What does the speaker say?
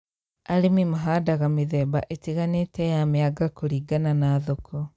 Arĩmi mahandaga mĩthemba ĩtiganĩte ya mĩanga kũrĩngana na thoko